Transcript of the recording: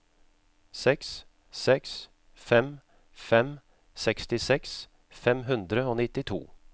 seks seks fem fem sekstiseks fem hundre og nittito